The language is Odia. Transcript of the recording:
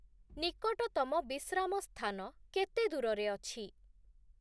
ନିକଟତମ ବିଶ୍ରାମ ସ୍ଥାନ କେତେ ଦୂରରେ ଅଛି?